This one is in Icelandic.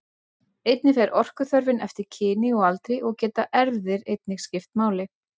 Einnig fer orkuþörfin eftir kyni og aldri og geta erfðir einnig skipt máli.